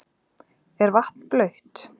Er vatn blautt?